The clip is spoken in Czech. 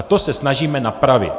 A to se snažíme napravit.